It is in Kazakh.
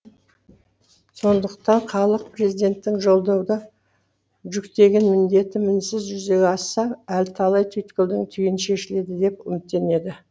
сондықтан халық президенттің жолдауда жүктеген міндеті мінсіз жүзеге асса әлі талай түйткілдің түйіні шешіледі деп үміттенеді